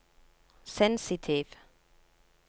sensitiv